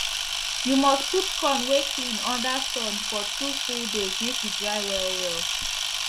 u must put corn wey clean under sun for 2 full days make e dry well well